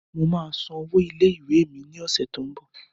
Mo máa san owó ilẹ̀ ìwé mi ni ọ̀sẹ̀ t ó ń bọ̀